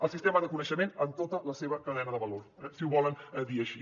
el sistema de coneixement en tota la seva cadena de valor eh si ho volen dir així